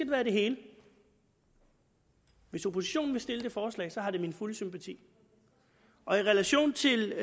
være det hele hvis oppositionen vil stille det forslag har det min fulde sympati i relation til